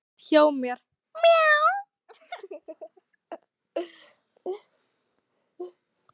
Hef kött hjá mér.